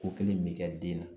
Ko kelen in bɛ kɛ den na